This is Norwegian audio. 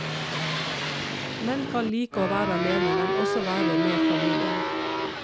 Menn kan like å være alene, men også være med familien.